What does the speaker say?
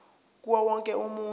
kuwo wonke umuntu